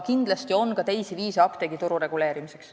Kindlasti on aga ka teisi viise apteegituru reguleerimiseks.